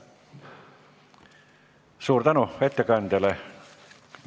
Suur tänu ettekandjale!